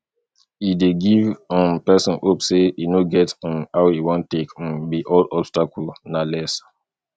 e dey give um person hope sey e no get um how e wan take um be all obstacle na less